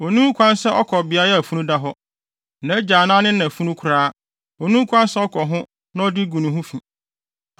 Onni ho kwan sɛ ɔkɔ beae a funu da hɔ; nʼagya anaa ne na funu koraa, onni ho kwan sɛ ɔkɔ ho na ɔde agu ne ho fi